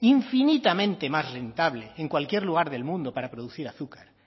infinitamente más rentable en cualquier lugar del mundo para producir azúcar